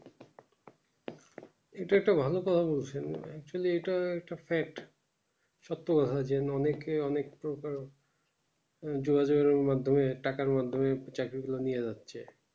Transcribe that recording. কিন্তু একটা ভালো কথা বলছি মানে actually এটা একটা fact সত্যি কথার জন অনেক কে অনেক দুহাজারের মধ্যে থাকার মাধ্যমে চাকরি গুলো নিয়ে যাচ্ছে